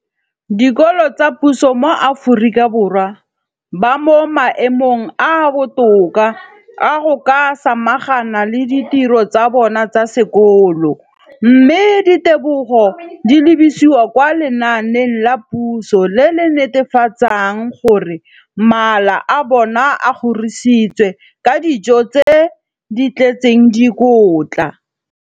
dikolo tsa puso mo Aforika Borwa ba mo maemong a a botoka a go ka samagana le ditiro tsa bona tsa sekolo, mme ditebogo di lebisiwa kwa lenaaneng la puso le le netefatsang gore mala a bona a kgorisitswe ka dijo tse di tletseng dikotla.